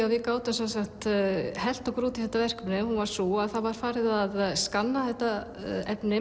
að við gátum hellt okkur út í þetta verkefni var sú að það var farið að skanna þetta efni